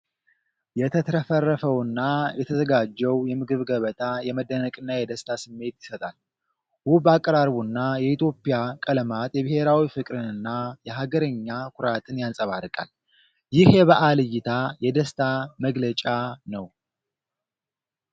የተትረፈረፈውና የተዘጋጀው የምግብ ገበታ የመደነቅና የደስታ ስሜት ይሰጣል። ውብ አቀራረቡና የኢትዮጵያ ቀለማት የብሔራዊ ፍቅርንና የሀገርኛ ኩራትን ያንፀባርቃል። ይህ የበዓል እይታ የደስታ መግለጫ ነው።